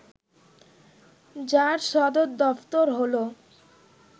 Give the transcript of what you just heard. যার সদর দফতর হল